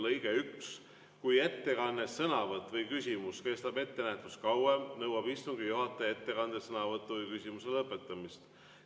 Lõige 1: "Kui ettekanne, sõnavõtt või küsimus kestab ettenähtust kauem, nõuab istungi juhataja ettekande, sõnavõtu või küsimuse lõpetamist.